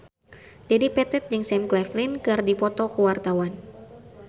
Dedi Petet jeung Sam Claflin keur dipoto ku wartawan